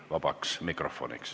Istungi lõpp kell 17.00.